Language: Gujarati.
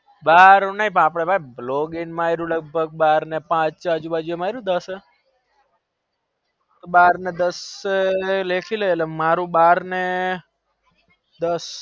બાર વાગ્યા ના ભાઈ પાંચ માર્યું ને અજુ બાજુ માર્યું દસ બાર ને દસ લેખીને